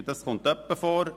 und das kommt etwa mal vor.